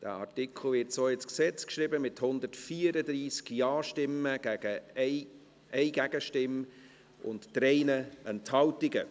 Der Artikel wird so ins Gesetz geschrieben, mit 134 Ja-Stimmen bei 1 Gegenstimme und 3 Enthaltungen.